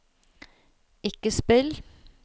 ikke spill